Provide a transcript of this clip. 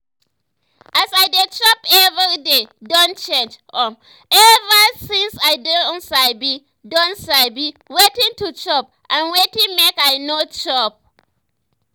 as i dey chop every day don change um ever since i don sabi don sabi wetin to chop and wetin make i no chop